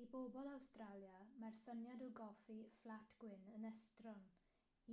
i bobl awstralia mae'r syniad o goffi fflat gwyn' yn estron.